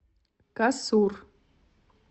касур